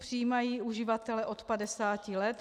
Přijímají uživatele od 50 let.